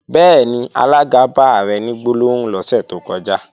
Bẹ́ẹ̀ni, alága bá Ààrẹ ní gbólóhùn lọ́sẹ̀ tó kọjá